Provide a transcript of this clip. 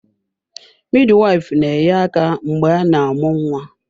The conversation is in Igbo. Midwife na-enye aka mgbe a na-amụ nwa.